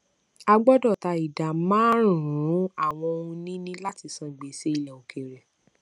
a gbọdọ ta ìdá márùnún àwọn ohunìní láti san gbèsè ilẹ òkèèrè